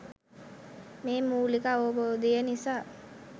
මේ මූලික අවබෝධය නිසා